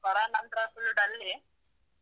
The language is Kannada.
ಕರೋನ ನಂತ್ರ full ಡಲ್ಲೆ.